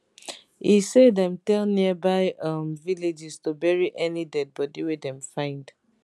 e say dem tell nearby um villages to bury any dead body wey dem find